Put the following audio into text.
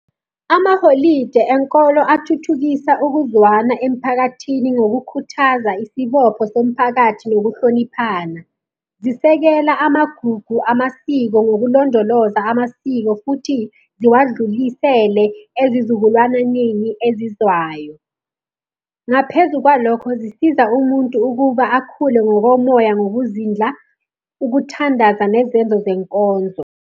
Amaholide enkolo athuthukisa ukuzwana emphakathini ngokukhuthaza isibopho somphakathi nokuhloniphana. Zisekela amagugu amasiko ngokulondoloza amasiko futhi ziwadlulisele ezizukulwananeni ezizwayo. Ngaphezu kwalokho zisiza umuntu ukuba akhule ngokomoya ngokuzindla, ukuthandaza nezenzo zenkonzo.